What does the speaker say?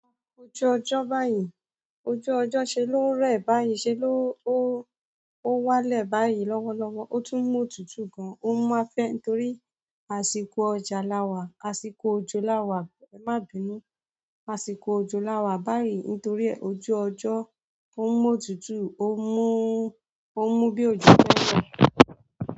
Ojú ọjọ́ báyìí, ojú ọjọ́ ṣe ló ń rẹ̀ báyìí, ṣe ló, wálẹ̀ báyìí lọ́wọ́lọ́wọ́. Ó tún mọ̀tútù gan-an, ó máa ń fẹ́ torí àsìkò òjò lawà. Má bínú, àsìkò òjò lawà báyìí nítorí e ojú ọjọ́ ó mọ̀tútù, ó mú bí ojo.